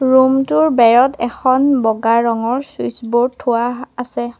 Room টোৰ বেৰত এখন বগা ৰঙৰ চুইটচ বোৰ্ড থোৱা আছে।